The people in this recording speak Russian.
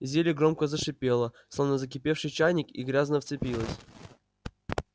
зелье громко зашипело словно закипевший чайник и грязно вспенилось